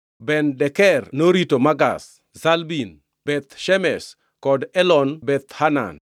Ben-Deker norito Makaz; Shalbim, Beth Shemesh kod Elon Bethhanan;